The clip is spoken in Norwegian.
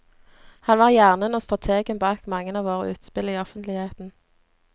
Han var hjernen og strategen bak mange av våre utspill i offentligheten.